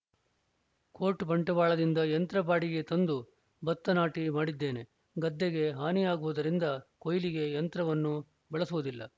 coat ಬಂಟ್ವಾಳದಿಂದ ಯಂತ್ರ ಬಾಡಿಗೆಗೆ ತಂದು ಬತ್ತ ನಾಟಿ ಮಾಡಿದ್ದೇನೆ ಗದ್ದೆಗೆ ಹಾನಿಯಾಗುವುದರಿಂದ ಕೊಯ್ಲಿಗೆ ಯಂತ್ರವನ್ನು ಬಳಸುವುದಿಲ್ಲ